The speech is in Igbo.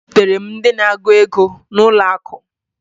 Ezutere m ndị na-agụ ego n'ụlọakụ